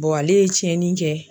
ale ye tiɲɛni kɛ.